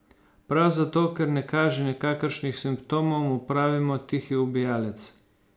Prav zato, ker ne kaže nikakršnih simptomov, mu pravimo tihi ubijalec.